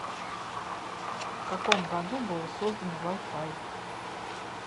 в каком году было создано вай фай